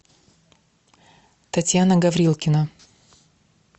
татьяна гаврилкина